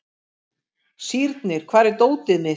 Sírnir, hvar er dótið mitt?